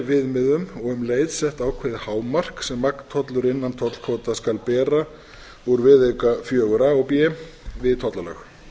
viðmiðum og um leið sett ákveðið hámark sem magntollur innan tollkvóta skal bera úr viðauka fjögur a og b við tollalög